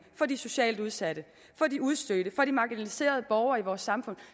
for de socialt udsatte for de udstødte for de marginaliserede borgere i vores samfund